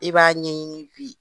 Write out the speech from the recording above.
I b'a ɲɛɲini bi